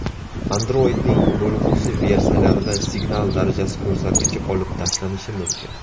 Android’ning bo‘lg‘usi versiyalarida signal darajasi ko‘rsatkichi olib tashlanishi mumkin.